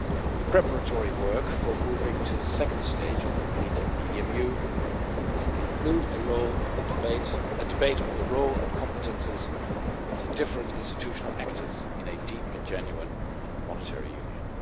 The preparatory work for moving to the second stage of completing the EMU should include a debate on the role and competences of the different institutional actors in a deep and genuine monetary union.